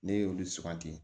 Ne y'olu suganti